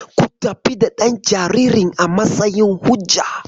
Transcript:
Ku tafi da ɗan jaririn a matsayin hujja.